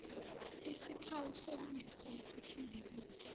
isikhawu sokundiza esithembekile